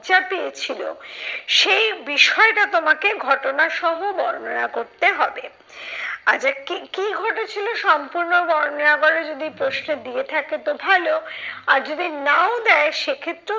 লজ্জা পেয়েছিলো সেই বিষয়টা তোমাকে ঘটনা সহ বর্ণনা করতে হবে। আচ্ছা কি কি ঘটেছিলো সম্পূর্ণ বর্ণনা করো যদি প্রশ্নে দিয়ে থাকে তো ভালো আর যদি নাও দেয় সে ক্ষেত্রে